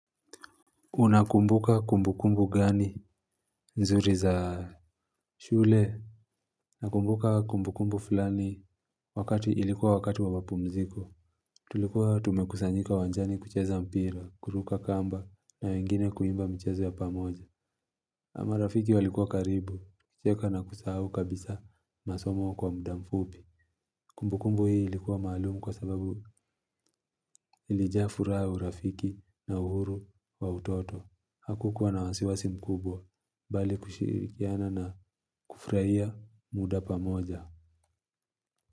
Unakumbuka kumbukumbu gani nzuri za shule? Nakumbuka kumbukumbu fulani wakati ilikuwa wakati wa mapumziko. Tulikuwa tumekusanyika uwanjani kucheza mpira, kuruka kamba na wengine kuimba michezo ya pamoja ama rafiki walikuwa karibu kucheka na kusahau kabisa masomo kwa muda mfupi. Kumbukumbu hii ilikuwa maalumu kwa sababu ilijafuraha, urafiki na uhuru wa utoto hakukuwa na wasiwasi mkubwa bali kushirikiana na kufurahia muda pamoja.